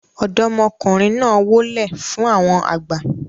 ọ̀dọ́mọkùnrin náà wólẹ̀ fún àwọn àgbà